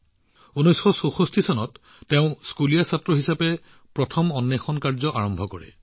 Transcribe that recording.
১৯৬৪ চনত তেওঁ স্কুলীয়া লৰা হিচাপে প্ৰথম অন্বেষণ কৰে